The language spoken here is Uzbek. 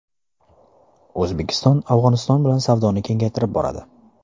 O‘zbekiston Afg‘oniston bilan savdoni kengaytirib boradi.